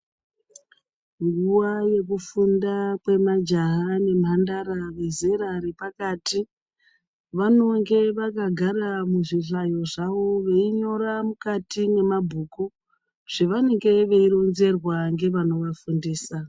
Nguwa yekufunga kwemajaha nemhandara vezera repakati vanenge vakagara muzvihlayo zvavo veinyora mukati mwemabhuku zvavanenge veironzerwa ngevanovafundisa.